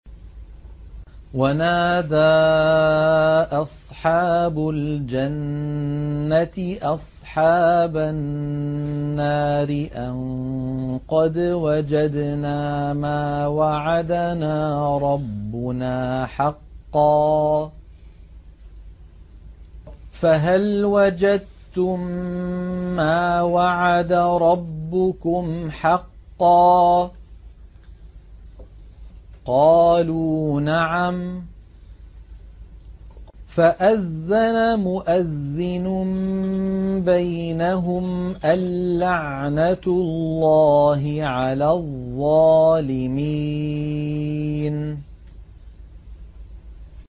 وَنَادَىٰ أَصْحَابُ الْجَنَّةِ أَصْحَابَ النَّارِ أَن قَدْ وَجَدْنَا مَا وَعَدَنَا رَبُّنَا حَقًّا فَهَلْ وَجَدتُّم مَّا وَعَدَ رَبُّكُمْ حَقًّا ۖ قَالُوا نَعَمْ ۚ فَأَذَّنَ مُؤَذِّنٌ بَيْنَهُمْ أَن لَّعْنَةُ اللَّهِ عَلَى الظَّالِمِينَ